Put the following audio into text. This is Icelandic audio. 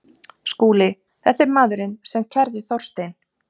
SKÚLI: Þetta er maðurinn sem kærði Þorstein